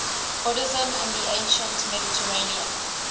buddhism in the ancient mediterranean